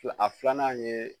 Fila a filanan ye